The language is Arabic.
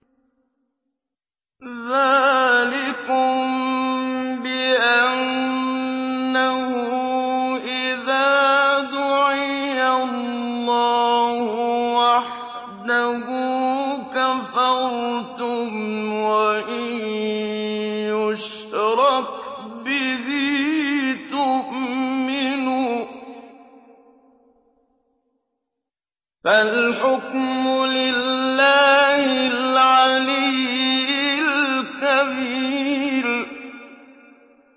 ذَٰلِكُم بِأَنَّهُ إِذَا دُعِيَ اللَّهُ وَحْدَهُ كَفَرْتُمْ ۖ وَإِن يُشْرَكْ بِهِ تُؤْمِنُوا ۚ فَالْحُكْمُ لِلَّهِ الْعَلِيِّ الْكَبِيرِ